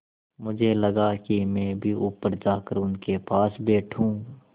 मुझे लगा कि मैं भी ऊपर जाकर उनके पास बैठूँ